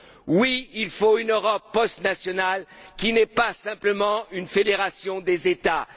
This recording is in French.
Oui, il faut une Europe postnationale qui ne soit pas seulement une fédération d'États.